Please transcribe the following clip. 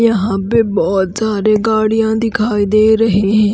यहां पे बहुत सारे गाड़ियां दिखाई दे रहे हैं।